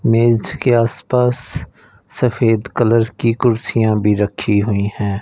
मेज के आसपास सफेद कलर की कुर्सियां भी रखी हुईं हैं।